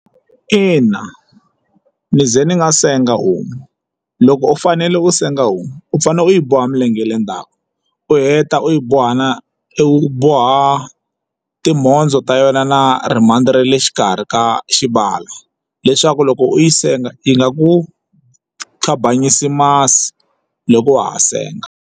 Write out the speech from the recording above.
Ina, ni ze ni nga senga homu loko u fanele u senga homu u fanele u yi boha milenge ya le ndzhaku u heta u yi boha na u boha timhondzo ta yona na ri mhandzi ra le xikarhi ka xibala leswaku loko u yi senga yi nga ku khambanyisi masi loko wa ha senga.